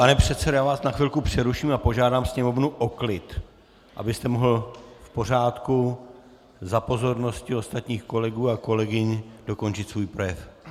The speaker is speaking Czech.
Pane předsedo, já vás na chvilku přeruším a požádám Sněmovnu o klid, abyste mohl v pořádku, za pozornosti ostatních kolegů a kolegyň dokončit svůj projev.